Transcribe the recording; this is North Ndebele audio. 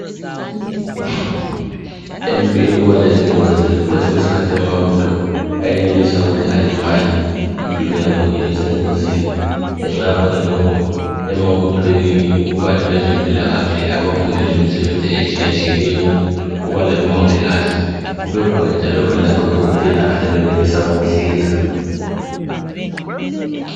Empini kubalezingozi kwesinye isikhathi amabutho ayenelisa ukuthi alimale impilo yabo ibasengozini. Ngenxa yakhona emabuthweni kubala ezempilakahle abafundela imisebenzi etshiyetshiyeneyo kubala omongikazi kubelabodokotela abanelisa ukuhlinza.